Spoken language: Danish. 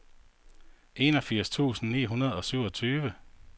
enogfirs tusind ni hundrede og syvogtyve